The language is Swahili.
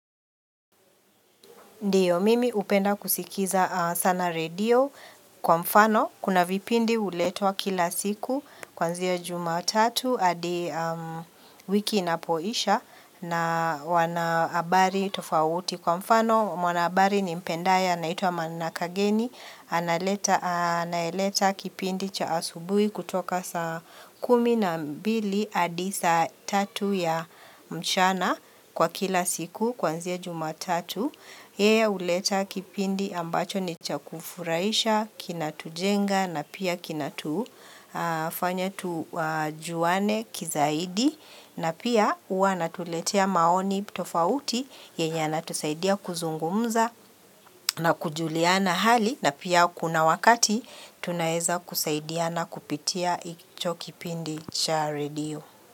Ndiyo mimi hupenda kusikiza sana redio kwa mfano kuna vipindi huletwa kila siku kwanzia jumatatu hadi wiki inapoisha na wana habari tofauti. Kwa mfano, mwanabari nimpendaya, anaitwa manakageni, anayeleta kipindi cha asubui kutoka sa kumi na mbili hadi saa tatu ya mchana kwa kila siku, kwanzia jumatatu. Hea uleta kipindi ambacho ni chakufuraisha, kinatujenga na pia kinatufanya tujuane kizaidi na pia huwa anatuletea maoni tofauti yenye yanatusaidia kuzungumza na kujuliana hali na pia kuna wakati tunaeza kusaidiana kupitia icho kipindi cha redio.